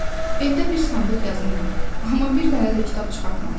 Evdə bir sandıq yazım var, amma bir dənə də kitab çıxartmamışam.